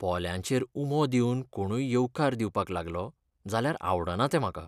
पोल्यांचेर उमो दिवन कोणूय येवकार दिवपाक लागलो जाल्यार आवडना तें म्हाका.